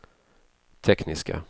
tekniska